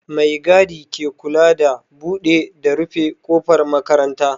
Mai gadi ke kula da buɗe da rufe ƙofar makaranta